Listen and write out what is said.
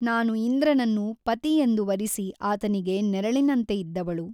ನಾನು ಇಂದ್ರನನ್ನು ಪತಿಯೆಂದು ವರಿಸಿ ಆತನಿಗೆ ನೆರಳಿನಂತೆ ಇದ್ದವಳು.